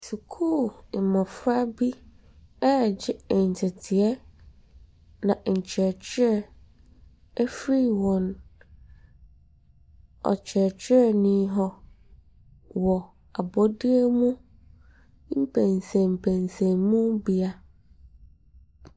Sukuu mmɔfra bi regye nteteeɛ na nkyerɛkyerɛ afiri wɔn kyerɛkyerɛi hɔ wɔ abɔdeɛ mu mpɛnsɛmpɛnsɛmubea.